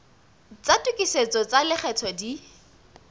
tsa tokisetso tsa lekgetho di